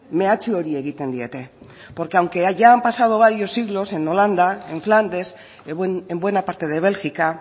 mehatxu hori egiten diete porque aunque hayan pasado varios siglos en holanda en flandes en buena parte de bélgica